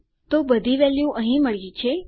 તો બધી વેલ્યુ અહીં મળ્યી છે